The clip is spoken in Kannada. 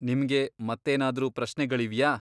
ನಿಮ್ಗೆ ಮತ್ತೇನಾದ್ರೂ ಪ್ರಶ್ನೆಗಳಿವ್ಯಾ?